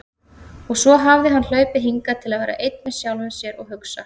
Og svo hafði hann hlaupið hingað til að vera einn með sjálfum sér og hugsa.